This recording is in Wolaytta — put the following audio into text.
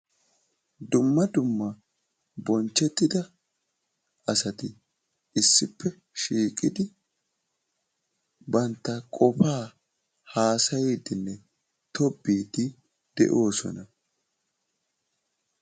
Dumma dumma bonchetida asati issippe shiiqidi banttaa qofaa haasayiidinne tobbiidi de'oosona.